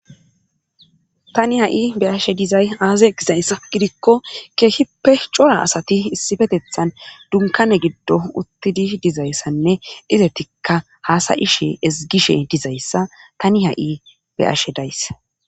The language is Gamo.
tani ha7i be ashe dizay aaze gizayss gidikko keehippe cora asati issifetethan dunkane giddo uttidi dizayssanne izetikka haasayishe ezgishe dizayssa tani ha7i be ashe days